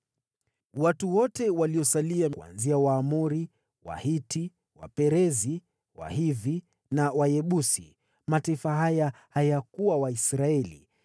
Watu wote waliosalia kutoka kwa Waamori, Wahiti, Waperizi, Wahivi na Wayebusi (mataifa haya hayakuwa Waisraeli),